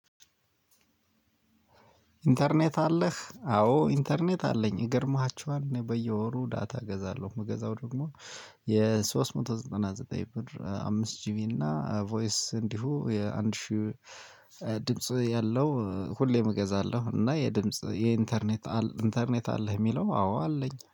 "ኢንተርኔት አለህ?" አዎ ኢንተርኔት አለኝ። ይገርማችኋል እኔ በየወሩ ዳታ እገዛለሁ። የምገዛው ደግሞ የሶስት መቶ ዘጠና ዘጠኝ ብር አምስት ጂቢ እና ቮይስ እንዲሁ የአንድ ሺህ ድምጽ ያለው ሁሌም እገዛለሁ እና የድምጽ የኢንተርኔት "ኢንተርኔት አለህ የሚለው?" አዎ አለኝ።